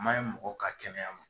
Man ɲɛ mɔgɔ ka kɛnɛya ma